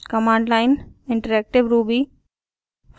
command line interactive ruby